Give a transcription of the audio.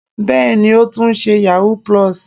Bẹ́ẹ̀ni, ó tún ṣe yahoo+.